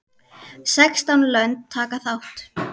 Sextán lönd taka þátt.